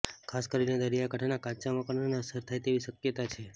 ખાસ કરીને દરિયાકાંઠાના કાચા મકાનોને અસર થાય તેવી શક્યતા છે